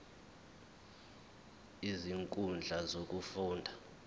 zonke izinkundla zokufunda